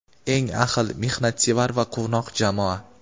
Eng ahil, mehnatsevar va quvnoq jamoa!.